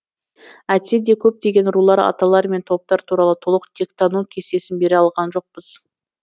әйтсе де көптеген рулар аталар мен топтар туралы толық тектану кестесін бере алған жоқпыз